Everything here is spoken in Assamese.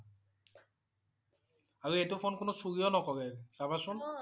আৰু এইটো ফোন কোনো চুৰিও নকৰে চাবা চুন